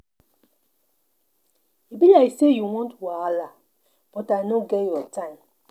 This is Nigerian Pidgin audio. E be like say you wan wahala but I no get your time.